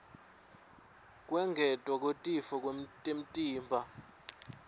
kwengetwa kwetitfo temtimba